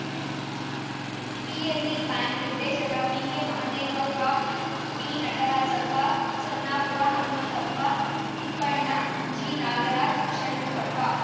PLD bank ನಿರ್ದೇಶಕ ಪಿಕೆಮಹದೇವಪ್ಪ ಪಿನಟರಾಜಪ್ಪ ಚೆನ್ನಾಪುರ ಹನುಮಂತಪ್ಪ ತಿಪ್ಪಣ್ಣ ಜಿನಾಗರಾಜ್‌ ಷಣ್ಮುಖಪ್ಪ